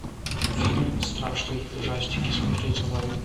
фильм страшный ужастики смотреть онлайн